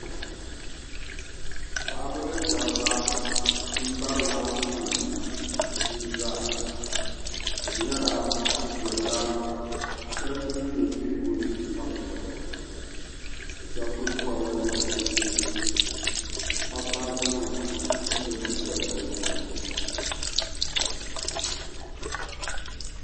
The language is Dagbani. Paɣaba ni daba, n bari laakum nima ʒiizaa ka di nyɛla bi dolila soli din nyɛ biɛhigu ni ka bɛ doli. bɛ shabi kuli bɔbla nachiinsi, n Kpabi baaji nima ka lɔ bin piɛla bi zuɣuni